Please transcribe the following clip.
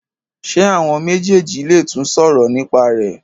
ṣe àwọn méjèjì lè tún sòrò nípa rẹ.